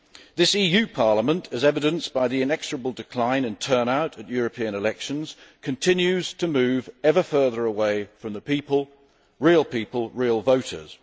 This EU Parliament, as evidenced by the inexorable decline in turnout at European elections, continues to move ever further away from the people real people, real voters.